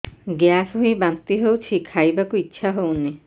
gas ହୋଇ ବାନ୍ତି ହଉଛି ଖାଇବାକୁ ଇଚ୍ଛା ହଉନି